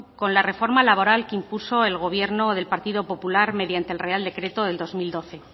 con la reforma laboral que impuso el gobierno del partido popular mediante el real decreto de dos mil doce